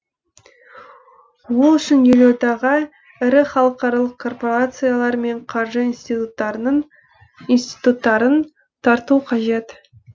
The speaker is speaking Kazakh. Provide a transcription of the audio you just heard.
ол үшін елордаға ірі халықаралық корпорациялар мен қаржы институттарын тарту қажет